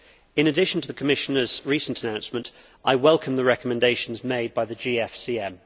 In addition to the Commissioner's recent announcement, I welcome the recommendations made by the GFCM.